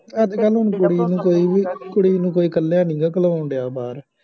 ਅੱਜ ਕੱਲ੍ਹ ਹੁਣ ਕੁੜੀ ਨੂੰ ਕੋਈ ਵੀ, ਕੁੜੀ ਨੂੰ ਕੋਈ ਇਕੱਲਿਆਂ ਨਹੀ ਗਾ ਘਲੋਣ ਡਿਆਂ ਬਾਹਰ